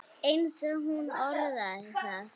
eins og hún orðaði það.